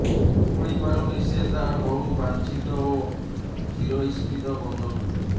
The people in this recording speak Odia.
ମୁକୁଳିପାରୁନି ସେ ତାର ବହୁ ବାଂଛିତ ଓ ଚିରଇପ୍ସିତ ବନ୍ଧନରୁ